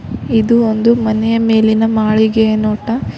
ಇದು ಒಂದು ಮನೆಯ ಮೇಲಿನ ಮಾಳಿಗೆಯ ನೋಟ.